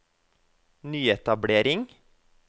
nyetablering